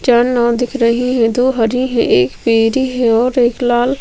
चार नांव दिख रही है दो हरी है एक पिली है और एक लाल --